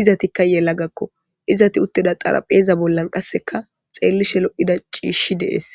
izetikka yelagakko istikka xaraphpheza bollan qasekka xellishe lo'iza ciishi dees